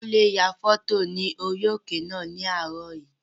Kúnlé ya fọ́tò orí òkè náà ní àárọ̀ yìí